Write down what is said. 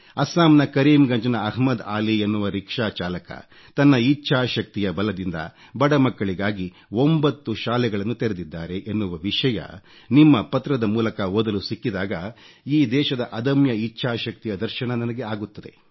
ಅಸ್ಸಾಂನ ಕರೀಂ ಗಂಜ್ ನ ಅಹಮದ್ ಅಲಿ ಎನ್ನುವ ರಿಕ್ಷಾ ಚಾಲಕ ತನ್ನ ಇಚ್ಚಾಶಕ್ತಿಯ ಬಲದಿಂದ ಬಡಮಕ್ಕಳಿಗಾಗಿ 9 ಶಾಲೆಗಳನ್ನು ತೆರೆದಿದ್ದಾರೆ ಎನ್ನುವ ವಿಷಯ ನಿಮ್ಮ ಪತ್ರದ ಮೂಲಕ ಓದಲು ಸಿಕ್ಕಿದಾಗ ಈ ದೇಶದ ಅದಮ್ಯ ಇಚ್ಚಾಶಕ್ತಿಯ ದರ್ಶನ ನನಗೆ ಆಗುತ್ತದೆ